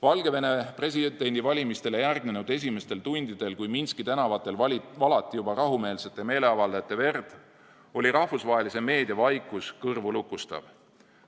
Valgevene presidendivalimistele järgnenud esimestel tundidel, kui Minski tänavatel valati juba rahumeelsete meeleavaldajate verd, oli rahvusvahelise meedia vaikus kõrvulukustav.